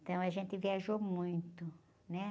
Então a gente viajou muito, né?